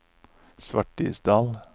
Svartisdal